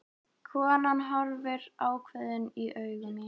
Konan horfir ákveðin í augu mín.